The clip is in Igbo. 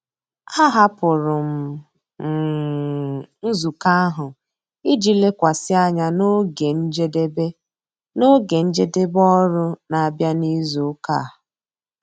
Ahapụrụ m um nzukọ ahụ iji lekwasị anya na oge njedebe na oge njedebe ọrụ na-abịa n'izu ụka a.